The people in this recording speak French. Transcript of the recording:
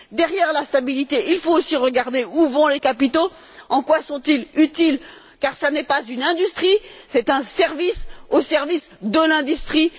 Derrière la stabilité, il faut aussi regarder où vont les capitaux, en quoi ils sont utiles, car ce n'est pas une industrie. C'est un service au service de l'industrie